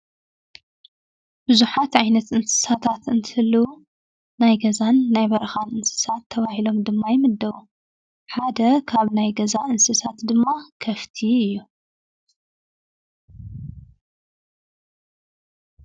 ቡዙሓት ዓይነት እንስሳታት እንትህልው ናይ ገዛን ናይ በረኻ እንስሳት ተባሂሎም ድማ ይምደቡ፡፡ ሓደ ካብ ናይ ገዛ እንስሳት ድማ ከፍቲ እዩ፡፡